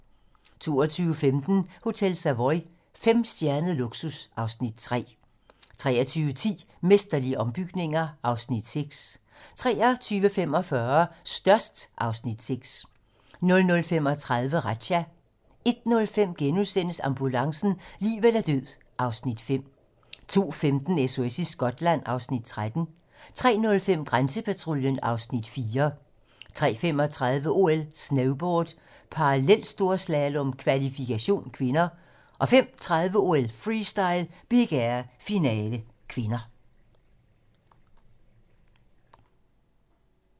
22:15: Hotel Savoy - femstjernet luksus (Afs. 3) 23:10: Mesterlige ombygninger (Afs. 6) 23:45: Størst (Afs. 6) 00:35: Razzia 01:05: Ambulancen - liv eller død (Afs. 5)* 02:15: SOS i Skotland (Afs. 13) 03:05: Grænsepatruljen (Afs. 4) 03:35: OL: Snowboard - parallelstorslalom, kvalfikation (k) 05:30: OL: Freestyle - Big Air, finale (k)